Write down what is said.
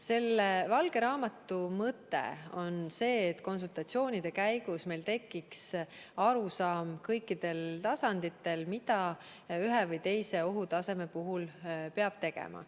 Selle valge raamatu mõte on see, et konsultatsioonide käigus meil tekiks arusaam kõikidel tasanditel, mida ühe või teise ohutaseme puhul peab tegema.